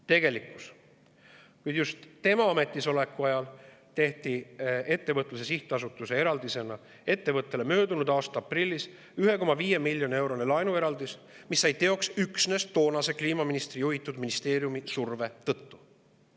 Tegelikkuses just tema ametisoleku ajal tehti ettevõtluse sihtasutuse kaudu sellele ettevõttele möödunud aasta aprillis 1,5 miljoni eurone laenueraldis, mis sai teoks üksnes toonase kliimaministri juhitud ministeeriumi surve tõttu.